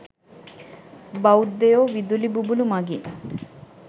බෞද්ධයො විදුලි බුබුළු මගින්